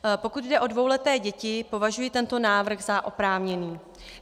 Pokud jde o dvouleté děti, považuji tento návrh za oprávněný.